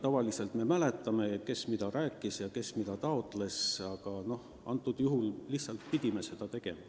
Tavaliselt me mäletame, kes mida rääkis ja kes mida taotles, aga antud juhul lihtsalt pidime seda tegema.